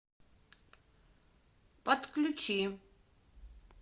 подключи